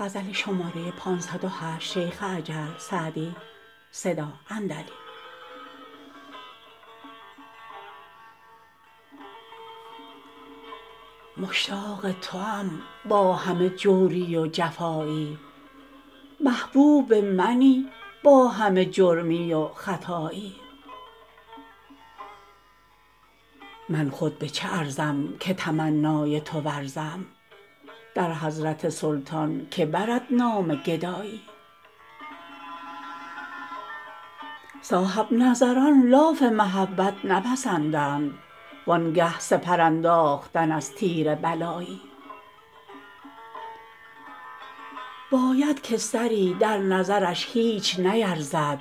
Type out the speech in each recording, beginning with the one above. مشتاق توام با همه جوری و جفایی محبوب منی با همه جرمی و خطایی من خود به چه ارزم که تمنای تو ورزم در حضرت سلطان که برد نام گدایی صاحب نظران لاف محبت نپسندند وان گه سپر انداختن از تیر بلایی باید که سری در نظرش هیچ نیرزد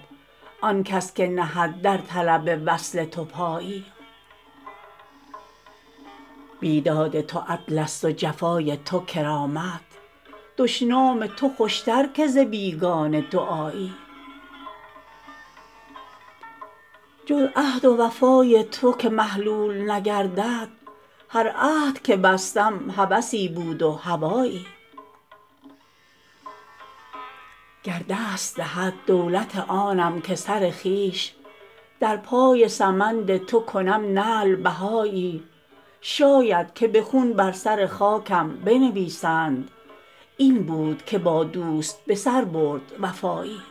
آن کس که نهد در طلب وصل تو پایی بیداد تو عدلست و جفای تو کرامت دشنام تو خوشتر که ز بیگانه دعایی جز عهد و وفای تو که محلول نگردد هر عهد که بستم هوسی بود و هوایی گر دست دهد دولت آنم که سر خویش در پای سمند تو کنم نعل بهایی شاید که به خون بر سر خاکم بنویسند این بود که با دوست به سر برد وفایی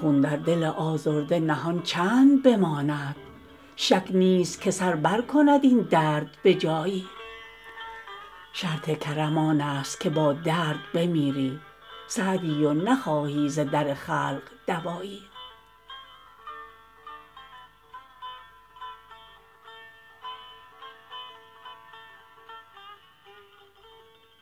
خون در دل آزرده نهان چند بماند شک نیست که سر برکند این درد به جایی شرط کرم آنست که با درد بمیری سعدی و نخواهی ز در خلق دوایی